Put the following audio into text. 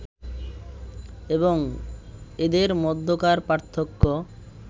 এবং এদের মধ্যকার পার্থক্য